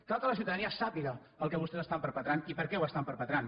cal que la ciutadania sàpiga el que vostès estan perpetrant i per què ho estan perpetrant